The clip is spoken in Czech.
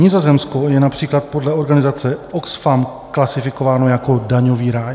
Nizozemsko je například podle organizace OXFAM klasifikováno jako daňový ráj.